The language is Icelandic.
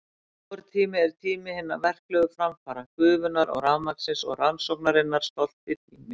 Vor tími er tími hinna verklegu framfara, gufunnar og rafmagnsins og rannsóknarinnar stolti tími.